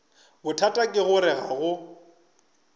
bothata ke gore ga go